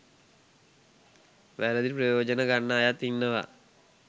වැරදි ප්‍රයෝජන ගන්න අයත් ඉන්නවා.